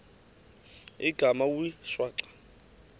igama wee shwaca